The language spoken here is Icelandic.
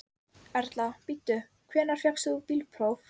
Erla: Bíddu, hvenær fékkst þú bílpróf?